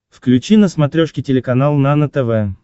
включи на смотрешке телеканал нано тв